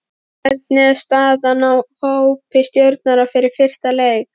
Hvernig er staðan á hópi Stjörnunnar fyrir fyrsta leik?